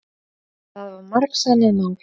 Það var margsannað mál.